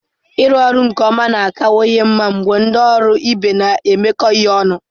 Ịrụ ọrụ nke ọma na-akawanye mma mgbe ndị ọrụ ibe na-emekọ ihe ọnụ.